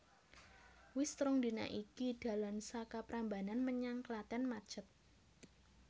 Wis rong dina iki dalan saka Prambanan menyang Klaten macet